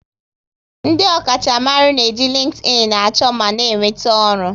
Ndị ọkacha mmaru n'eji LinkedIn a chọ ma na enweta ọrụ